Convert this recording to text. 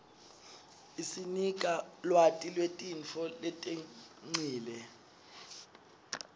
isinika lwati ngetintfo letengcile